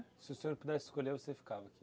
Se o senhor pudesse escolher, você ficava aqui?